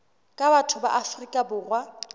ka batho ba afrika borwa